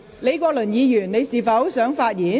李國麟議員，你是否想發言？